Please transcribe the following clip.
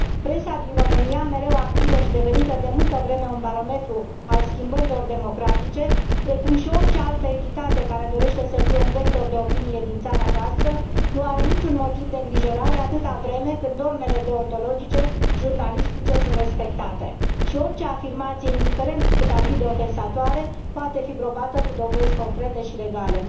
Presa din România, mereu activă și devenită de multă vreme un barometru al schimbărilor democratice, precum și orice altă entitate care dorește să fie un vector de opinie din țara noastră, nu are niciun motiv de îngrijorare, atâta vreme cât normele deontologice jurnalistice sunt respectate și orice afirmație, indiferent cât ar fi de ofensatoare, poate fi probată cu dovezi concrete și legale.